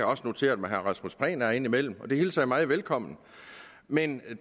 også noteret mig herre rasmus prehn er indimellem og det hilser jeg meget velkommen men